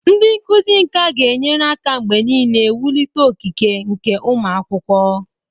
Ndị nkuzi nka ga-enyere aka mgbe niile wulite okike nke ụmụ akwụkwọ.